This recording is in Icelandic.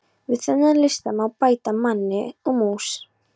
Við þennan lista má bæta manni og mús.